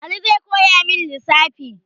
Ali zai koyamin lissafi